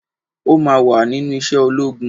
O máa wà nínú iṣẹ́ ológun.